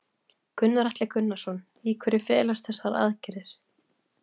Gunnar Atli Gunnarsson: Í hverju felast þessa aðgerðir?